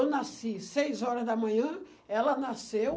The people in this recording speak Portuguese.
Eu nasci seis horas da manhã, ela nasceu